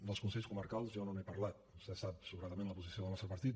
dels consells comarcals jo no n’he parlat vostè sap sobradament la posició del nostre partit